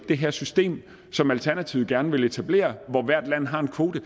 det her system som alternativet gerne vil etablere hvor hvert land har en kvote